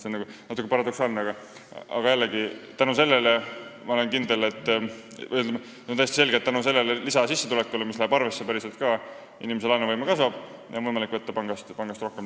See on küll natuke paradoksaalne, aga täiesti selge on, et tänu sellele lisasissetulekule, mis läheb päriselt ka arvesse, kasvab inimese laenuvõime ja tal on võimalik pangast rohkem laenu võtta.